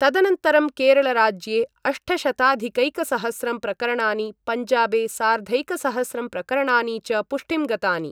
तदनन्तरं केरलराज्ये अष्टशताधिकैकसहस्रं प्रकरणानि पञ्जाबे सार्धैकसहस्रं प्रकरणानि च पुष्टिं गतानि।